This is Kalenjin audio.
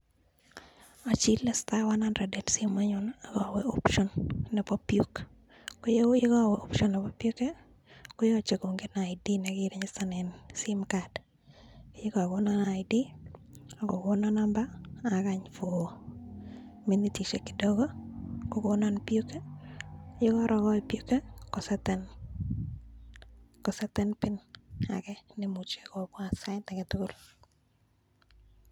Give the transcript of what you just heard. Ochile star, one hundred en simoinyun ak awe option nebo PUK. Ye korowe option nebo PUK koyoche kongen ID nekirijistanen simcard ye kagonon ID ak kogonon number agany for minitishek kidogo kogonon PUK. Ye korogochi PUK ii koseten PIN neimuche kobwat sait age tugul.